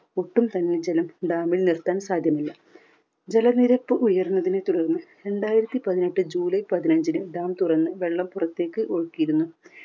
ഒട്ടും തന്നെ ജലം dam ൽ നിർത്താൻ സാധ്യമല്ല. ജലനിരപ്പ് ഉയരുന്നതിനെ തുടർന്ന് രണ്ടായിരത്തി പതിനെട്ട് ജൂലൈ പതിനഞ്ചിന് dam തുറന്ന് വെള്ളം പുറത്തേക്ക് ഒഴുകിയിരുന്നു.